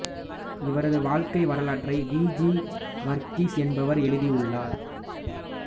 இவரது வாழ்க்கை வரலாற்றை வி ஜி வர்கீஸ் என்பவர் எழுதியுள்ளார்